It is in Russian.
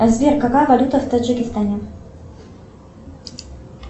сбер какая валюта в таджикистане